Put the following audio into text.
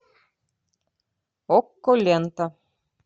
окко лента